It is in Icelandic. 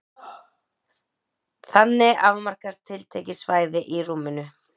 Þannig afmarkast tiltekið svæði í rúminu.